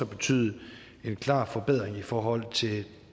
betyde en klar forbedring i forhold til